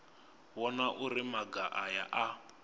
vhona uri maga aya a